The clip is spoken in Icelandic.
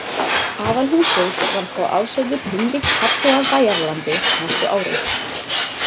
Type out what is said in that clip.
Aðalhúsið varð þá aðsetur Hinriks hertoga af Bæjaralandi næstu árin.